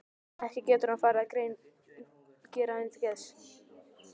Ekki getur hann farið að gera henni það til geðs?